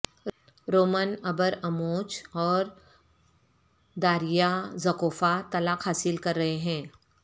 Roman Abramovich اور Daria Zhukova طلاق حاصل کر رہے ہیں